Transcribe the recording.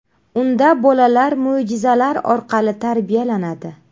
Unda bolalar mo‘jizalar orqali tarbiyalanadi.